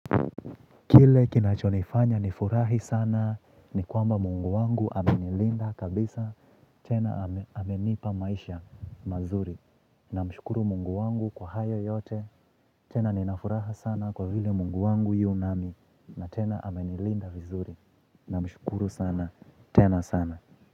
Kile kinachonifanya nifurahi sana ni kwamba mungu wangu amenilinda kabisa. Tena amenipa maisha mazuri. Namshukuru Mungu wangu kwa hayo yote. Tena ninafuraha sana kwa vile mungu wangu yu nami. Na tena amenilinda vizuri. Na mshukuru sana. Tena sana.